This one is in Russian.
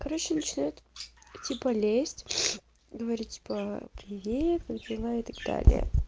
короче начинает типа лезть говорить типа привет как дела и так далее